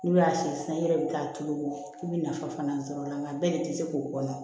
N'u y'a si san i yɛrɛ bɛ taa tulu i bɛ nafa fana sɔrɔ a la nka bɛɛ de tɛ se k'o kɔnɔ